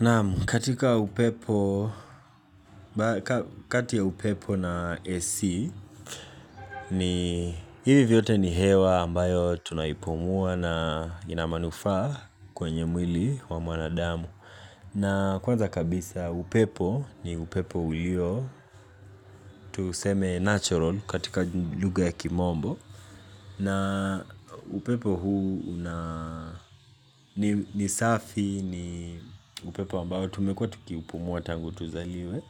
Naam kati ya upepo na AC ni hivi vyote ni hewa ambayo tunaipumua na ina manufaa kwenye mwili wa mwanadamu. Na kwanza kabisa upepo ni upepo ulio tuseme natural katika lugha ya kimombo. Na upepo huu ni safi ni upepo ambao tumekuwa tukiipumua tangu tuzaliwe